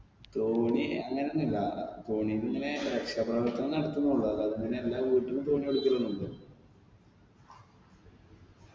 തോണി അങ്ങനൊന്നില്ല അഹ് തോണിയൊക്കെ ഇങ്ങനെ രക്ഷാപ്രവർത്തനം നടത്തുന്നുള്ളൂ അല്ലാതിങ്ങനെ എല്ലാ വീട്ടിലും തോണി എടുക്കലൊന്നുല്ല